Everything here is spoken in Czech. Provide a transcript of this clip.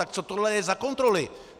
Tak co tohle je za kontroly?